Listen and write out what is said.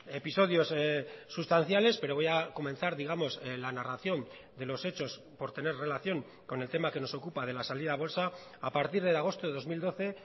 episodios sustanciales pero voy a comenzar digamos la narración de los hechos por tener relación con el tema que nos ocupa de la salida a bolsa a partir de agosto de dos mil doce